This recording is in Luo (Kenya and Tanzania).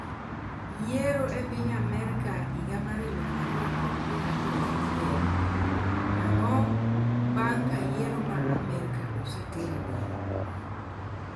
yiero e piny Amerika higa mar elufu ariyo kod piero ariyo gachiel:ang'o bang' ka yiero ma Amerka oseter e dowo?